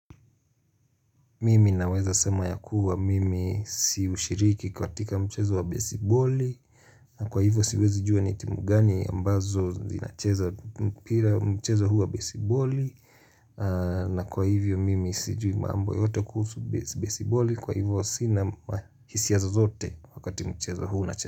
Mimi naweza sema yakuwa mimi siushiriki katika mchezo wa besiboli na kwa hivyo siwezi jua ni timu gani ambazo zinacheza mpira mchezo huu wa besiboli na kwa hivyo mimi sijui mambo yoyote kuhusu besiboli kwa hivyo sina hisia zozote wakati mchezo huu unacheza.